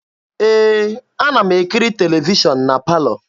Ee, ana m ekiri televishọn na palọ.